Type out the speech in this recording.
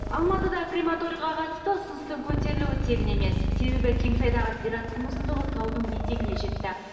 алматыда крематорийға қатысты ұсыныстың көтерілуі тегін емес себебі кеңсайдағы зираттың ұзындығы таудың етегіне жетті